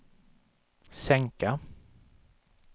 sänka